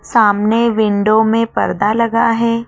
सामने विंडो में पर्दा लगा है।